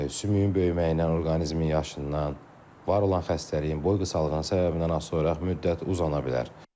Sümüyün böyüməyindən, orqanizmin yaşından, var olan xəstəliyin, boy qısalığının səbəbindən asılı olaraq müddət uzana bilər.